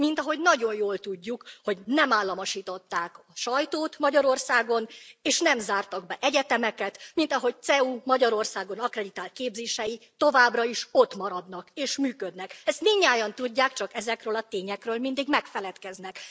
Mint ahogy nagyon jól tudjuk, hogy nem államosították a sajtót Magyarországon és nem zártak be egyetemeket, mint ahogy a CEU Magyarországon akkreditált képzései továbbra is ottmaradnak és működnek. Ezt mindnyájan tudják, csak ezekről a tényekről mindig megfeledkeznek.